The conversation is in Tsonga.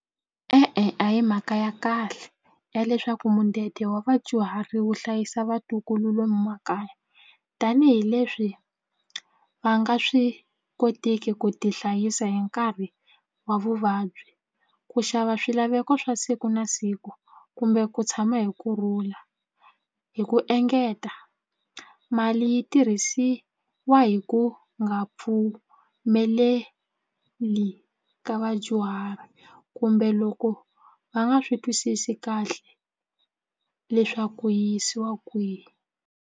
E-e a hi mhaka ya kahle ya leswaku mudende wa vadyuhari wu hlayisa vatukulu lomu makaya tanihileswi va nga swi kotiki ku tihlayisa hi nkarhi wa vuvabyi ku xava swilaveko swa siku na siku kumbe ku tshama hi kurhula hi ku engeta mali yi tirhisiwa hi ku nga pfumeleli ka vadyuhari kumbe loko va nga swi twisisi kahle leswaku ku yi yisiwa kwihi.